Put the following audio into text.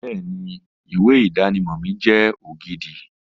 Bẹ́ẹ̀ni, ìwé ìdánimọ̀ mi jẹ́ ògidì